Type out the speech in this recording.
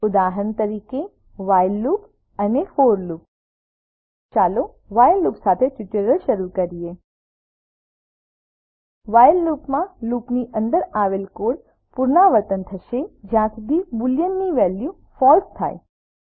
ઉદાહરણ તરીકે while loop અને ફોર લૂપ ચાલો વ્હાઇલ લુપ સાથે ટ્યુટોરીયલ શરૂ કરીએ વ્હાઇલ લુપમાં લૂપની અંદર આવેલ કોડ પુનરાવર્તન થશે જ્યાં સુધી બોલિયન ની વેલ્યુ ફળસે થાય